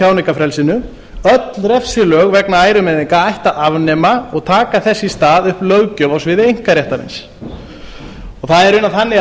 tjáningarfrelsinu öll refsilög vegna ærumeiðinga ætti að afnema og taka þess í stað upp löggjöf á sviði einkaréttarins það er í raun þannig að